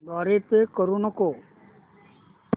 द्वारे पे करू नको